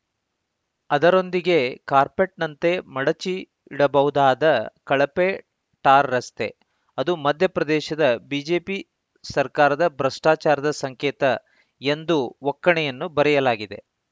ಅದರೊಂದಿಗೆ ಕಾರ್ಪೆಟ್‌ನಂತೆ ಮಡಚಿ ಇಡಬಹುದಾದ ಕಳಪೆ ಟಾರ್‌ ರಸ್ತೆ ಅದು ಮಧ್ಯಪ್ರದೇಶದ ಬಿಜೆಪಿ ಸರ್ಕಾರದ ಭ್ರಷ್ಟಾಚಾರದ ಸಂಕೇತ ಎಂದು ಒಕ್ಕಣೆಯನ್ನು ಬರೆಯಲಾಗಿದೆ